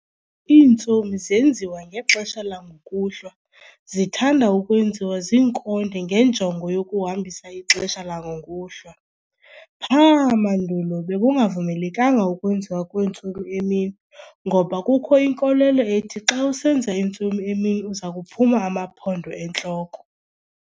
iintsomi zenziwa ngexesha langokuhlwa, zithandwa ukwenziwa zinkonde ngenjongo yokuhambisa ixesha langokuhlwa. Pha!mandulo bekungavumelekanga ukwenziwa kweentsomi emini ngoba kukho inkolelo ethi xa usenza intsomi emini uzakuphuma amaphondo entloko.